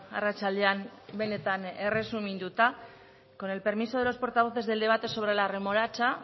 arratsaldean benetan erresuminduta con el permiso de los portavoces del debate sobre la remolacha